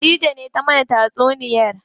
Khadija ce ta mana tatsuniya.